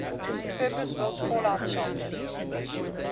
purpose built fallout shelter